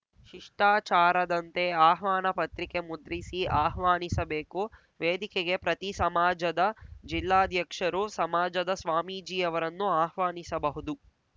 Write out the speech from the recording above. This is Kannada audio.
ಶಿಷ್ಟಾಚಾರದಂತೆ ಆಹ್ವಾನ ಪತ್ರಿಕೆ ಮುದ್ರಿಸಿ ಆಹ್ವಾನಿಸಬೇಕು ವೇದಿಕೆಗೆ ಪ್ರತಿ ಸಮಾಜದ ಜಿಲ್ಲಾಧ್ಯಕ್ಷರು ಸಮಾಜದ ಸ್ವಾಮೀಜಿಯವರನ್ನು ಆಹ್ವಾನಿಸಬಹುದು